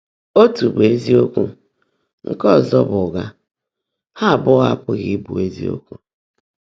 Ótú bụ́ ézíokwú, nkè ọ́zọ́ bụ́ ụ́ghá; há ábụ́ọ́ ápughị́ íbụ́ ézíokwú.